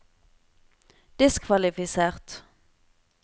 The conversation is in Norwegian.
diskvalifisert